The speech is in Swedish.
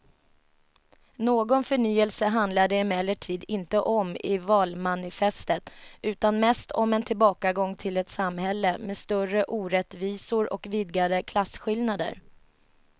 Någon förnyelse handlar det emellertid inte om i valmanifestet utan mest om en tillbakagång till ett samhälle med större orättvisor och vidgade klasskillnader.